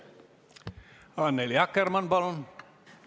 Annely Akkermann, palun!